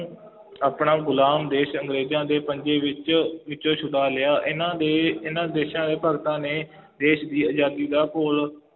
ਆਪਣਾ ਗੁਲਾਮ ਦੇਸ਼ ਅੰਗਰੇਜ਼ਾਂ ਦੇ ਪੰਜੇ ਵਿੱਚ ਵਿੱਚੋਂ ਛੁਡਾ ਲਿਆ, ਇਹਨਾ ਦੇ, ਇਹਨਾ ਦੇਸ਼ਾਂ ਦੇ ਭਗਤਾਂ ਨੇ ਦੇਸ਼ ਦੀ ਆਜ਼ਾਦੀ ਦਾ ਘੋਲ